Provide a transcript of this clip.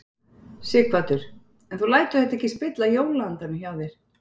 Sighvatur: En þú lætur þetta ekki spilla jólaandanum hjá þér?